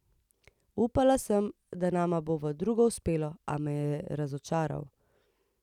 Upala sem, da nama bo v drugo uspelo, a me je razočaral.